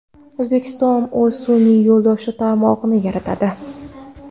O‘zbekiston o‘z sun’iy yo‘ldosh tarmog‘ini yaratadi.